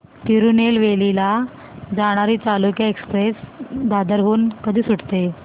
तिरूनेलवेली ला जाणारी चालुक्य एक्सप्रेस दादर हून कधी सुटते